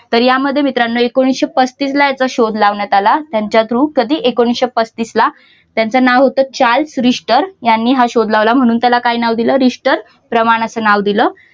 तर यामध्ये मित्रांनो एकोणविशे पस्तीस ला याचा शोध लावण्यात आला. त्यांच्या through कधी एकोणविशे पस्तीस ला त्याचं नाव होतं चार्ल्स रिश्टर याने हा शोध लावला म्हणून त्याला काय नाव दिलं रिस्टर प्रमाण असं नाव दिलं.